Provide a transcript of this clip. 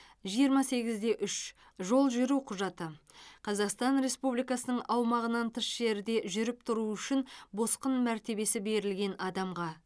жиырма сегізде үш жол жүру құжаты қазақстан республикасының аумағынан тыс жерде жүріп тұруы үшін босқын мәртебесі берілген адамға